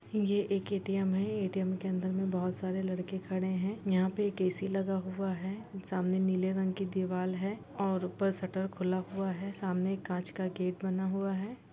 ये एक ऐ_टी_एम है ऐ_टी_एम के अंदर में बहुत सारे लड़के खड़े हैं यहाँ पे एक ऐ_सी लगा हुआ है सामने नीले रंग की दीवाल है और ऊपर शटर खुला हुआ है सामने एक कांच का गेट बना हुआ है।